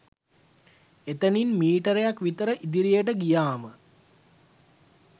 ඒතනින් මීටරයක් විතර ඉදිරියට ගියාම